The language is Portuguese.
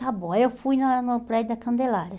está bom, aí eu fui na no prédio da Candelária.